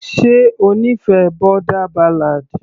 ṣe ó nífẹ̀ẹ́ boarder ballad.